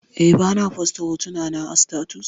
Eh, bana fosta hotunana a status